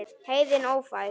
Heiðin ófær?